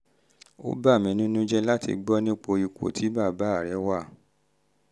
ó bà mí nínú jẹ́ jẹ́ láti um gbọ́ nípa ipò tí bàbá rẹ um wà